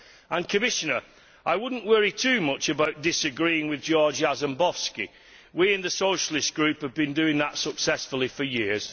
And Commissioner, I would not worry too much about disagreeing with Georg Jarzembowski we in the Socialist Group have been doing that successfully for years.